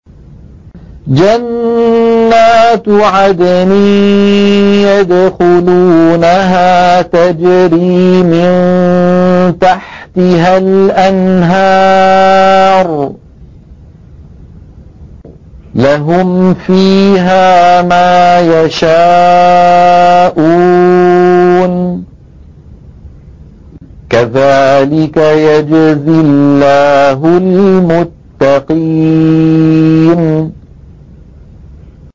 جَنَّاتُ عَدْنٍ يَدْخُلُونَهَا تَجْرِي مِن تَحْتِهَا الْأَنْهَارُ ۖ لَهُمْ فِيهَا مَا يَشَاءُونَ ۚ كَذَٰلِكَ يَجْزِي اللَّهُ الْمُتَّقِينَ